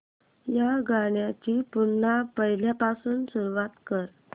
या गाण्या ची पुन्हा पहिल्यापासून सुरुवात कर